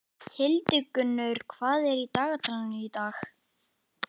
Hildigunnur, hvað er í dagatalinu í dag?